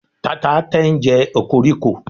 tata ten je okoriko